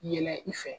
Yɛlɛ i fɛ